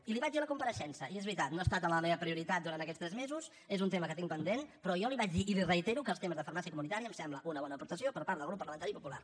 i li ho vaig dir a la compareixença i és veritat no ha estat la meva prioritat durant aquests tres mesos és un tema que tinc pendent però jo li vaig dir i li reitero que els temes de farmàcia comunitària em semblen una bona aportació per part del grup parlamentari popular